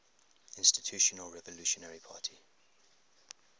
institutional revolutionary party